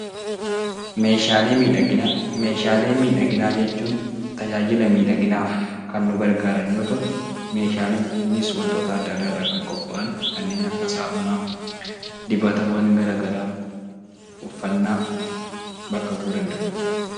Meeshaalee miidhaginaa jechuun tajaajila miidhaginaaf kan nu gargaaran yoo ta'u, meeshaalee kunneenis wantoota adda addaa irraa kan qophaa'an kanneen akka saamunaa, dibatawwan gara garaa, uffatnaa bakka bu'uu danda'u.